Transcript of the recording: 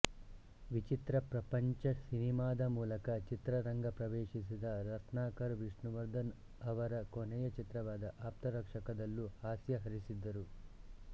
ವಿಚಿತ್ರ ಪ್ರಪಂಚ ಸಿನಿಮಾದ ಮೂಲಕ ಚಿತ್ರರಂಗ ಪ್ರವೇಶಿಸಿದ ರತ್ನಾಕರ್ ವಿಷ್ಣುವರ್ಧನ್ ಅವರ ಕೊನೆಯ ಚಿತ್ರವಾದ ಆಪ್ತರಕ್ಷಕದಲ್ಲೂ ಹಾಸ್ಯ ಹರಿಸಿದ್ದರು